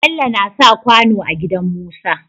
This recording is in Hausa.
Bello nasa kwano a gidan musa